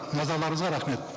назарларыңызға рахмет